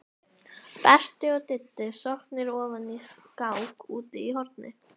Berti og Diddi sokknir ofan í skák úti í horni.